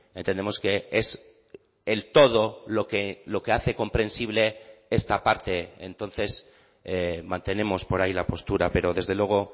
entendemos que es el todo lo que hace comprensible esta parte entonces mantenemos por ahí la postura pero desde luego